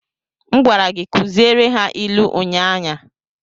M gwara gi kuziere ha ilu unyanya!